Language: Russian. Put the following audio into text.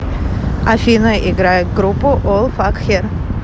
афина играй группу ол факхер